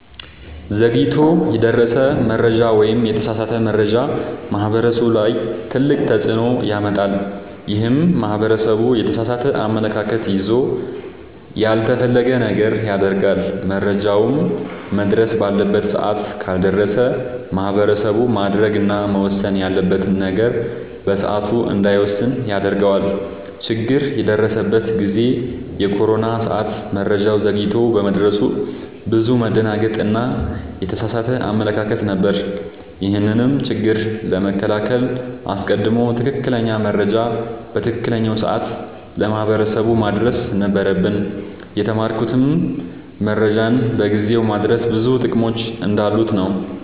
ዘግይቶ የደረሰ መረጃ ወይም የተሳሳተ መረጃ ማህበረሰቡ ላይ ትልቅ ተፅዕኖ ያመጣል። ይህም ማህበረሰቡ የተሳሳተ አመለካከት ይዞ ያልተፈለገ ነገር ያደርጋል። መረጃውም መድረስ ባለበት ሰዓት ካልደረሰ ማህበረሰቡ ማድረግ እና መወሰን ያለበትን ነገር በሰዓቱ እንዳይወስን ያደርገዋል። ችግር የደረሰበት ጊዜ የኮሮና ሰዓት መረጃው ዘግይቶ በመድረሱ ብዙ መደናገጥ እና የተሳሳተ አመለካከት ነበር። ይህንንም ችግር ለመከላከል አስቀድሞ ትክክለኛ መረጃ በትክክለኛው ሰዓት ለማህበረሰቡ ማድረስ ነበረብን። የተማርኩትም መረጃን በጊዜው ማድረስ ብዙ ጥቅሞች እንዳሉት ነወ።